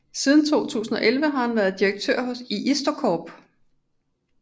Siden 2011 har han været direktør i IstoCorp